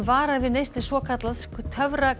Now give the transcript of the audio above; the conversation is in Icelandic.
varar við neyslu svokallaðs